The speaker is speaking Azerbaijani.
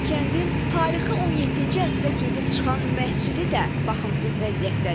Kəndin tarixi 17-ci əsrə gedib çıxan məscidi də baxımsız vəziyyətdədir.